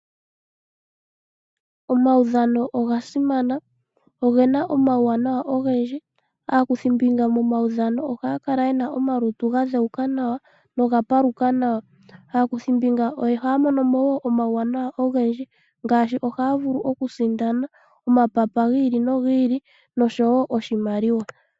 Omaudhano oga simana, oge na omauwanawa ogendji. Aakuthimbinga momaudhano ohaya kala ye na omalutu ga dhewuka noga paluka nawa. Ohaya mono mo woo omauwanawa ogendji ngaashi okusindana omapapa nosho wo oshimaliwa.